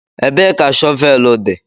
Ebee ka shọvel dị?